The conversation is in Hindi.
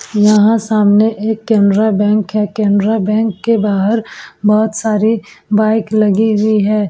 यहाँ सामने एक केनरा बैंक है। केनरा बैंक के बाहर बहोत सारे बाइक लगी हुई हैं।